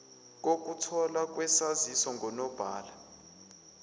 kokutholwa kwesaziso ngunobhala